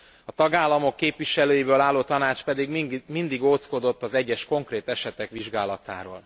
A tagállamok képviselőiből álló Tanács pedig mindig ódzkodott az egyes konkrét esetek vizsgálatától.